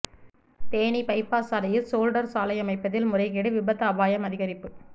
Theni bypass சாலையில் shoulder சாலை அமைப்பதில் முறைகேடு விபத்து அபாயம் அதிகரிப்பு